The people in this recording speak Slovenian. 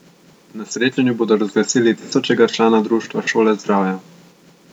Na srečanju bodo razglasili tisočega člana Društva Šola zdravja.